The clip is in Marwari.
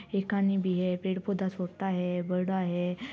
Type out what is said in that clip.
एकानी भी है पेड़ पौधा छोटा है बड़ा है।